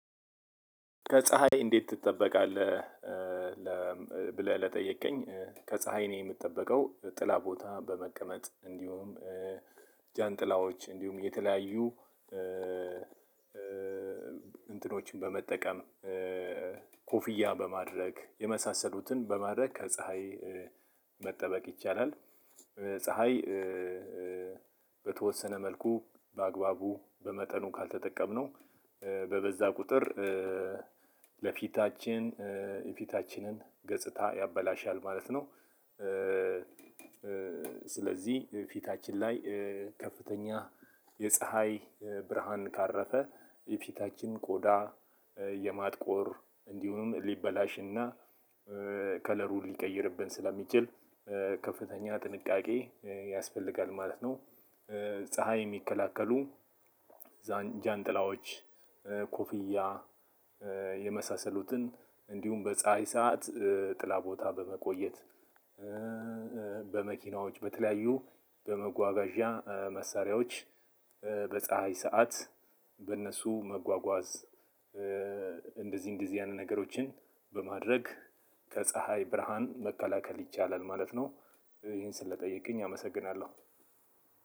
ከፀሀይ እንዴት ትጠበቃለህ? ብለህ ለጠየከኝ ከፀሀይ ነው የምጠበቀው ጥላ ቦታ በመቀመጥ እንዲሁም ጃንጥላዎች እንዲሁም የተለያዩ እንትኖችን በመጠቀም ኮፍያ በማድረግ የመሳሰሉትን በማድረግ ከፀሀይ መጠበቅ ይቻላል። ፀሀይ በተወሰነ መልኩ በአግባቡ በመጠኑ ካልተጠቀምነው በበዛ ቁጥር ለፊታችን የፊታችንን ገጽታ ያበላሻል ማለት ነው። ስለዚህ ፊታችን ላይ ከፍተኛ የፀሀይ ብርሃን ካረፈ የፊታችን ቆዳ የማጥቆር እንዲሁም ሊበላሽና ከለሩን ሊቀይርብን ስለሚችል ከፍተኛ ጥንቃቄ ያስፈልጋል ማለት ነው። ፀሀይ የሚከላከሉ ጃንጥላዎች ኮፍያ የመሳሰሉትን እንዲሁም በፀሀይ ሰዓት ጥላ ቦታ በመቆየት በመኪናዎች በተለያዩ በመጓጓዣ መሳሪያዎች በፀሀይ ሰዓት በነሱ መጓጓዝ እንደዚ እነደዚ አይነት ነገሮችን በማድረግ ከ ፀሀይ ብርሃን መከላከል ይቻላል ማለት ነው። ይህን ስለጠየቅከኝ አመሰግናለው።